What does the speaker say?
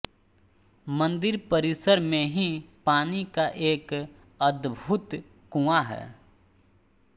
मंदिर परिसर मे ही पानी का एक अद्भुत कुंआ है